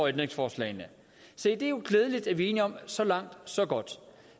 ændringsforslagene se det er jo glædeligt at vi er enige om så langt så godt